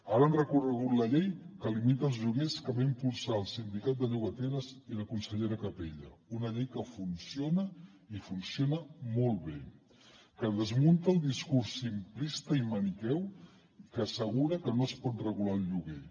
ara han recorregut la llei que limita els lloguers que van impulsar el sindicat de llogateres i la consellera capella una llei que funciona i funciona molt bé que desmunta el discurs simplista i maniqueu que assegura que no es pot regular el lloguer